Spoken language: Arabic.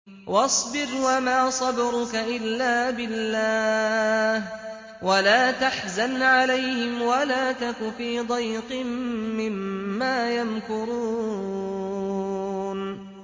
وَاصْبِرْ وَمَا صَبْرُكَ إِلَّا بِاللَّهِ ۚ وَلَا تَحْزَنْ عَلَيْهِمْ وَلَا تَكُ فِي ضَيْقٍ مِّمَّا يَمْكُرُونَ